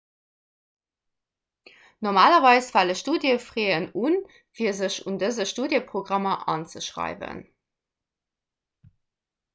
normalerweis fale studiefraisen un fir sech an dëse studiëprogrammer anzeschreiwen